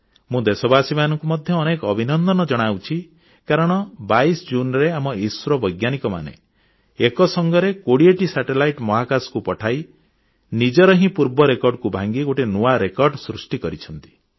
ମୁଁ ଦେଶବାସୀଙ୍କୁ ମଧ୍ୟ ଅନେକ ଅଭିନନ୍ଦନ ଜଣାଉଛି କାରଣ 22 ଜୁନରେ ଆମ ଇସ୍ରୋ ବୈଜ୍ଞାନିକମାନେ ଏକ ସଙ୍ଗେ 20 ଟି ଉପଗ୍ରହ ମହାକାଶକୁ ପଠାଇ ନିଜର ହିଁ ପୂର୍ବ ରେକର୍ଡକୁ ଭାଙ୍ଗି ଗୋଟିଏ ନୂଆ ରେକର୍ଡ ସୃଷ୍ଟି କରିଛନ୍ତି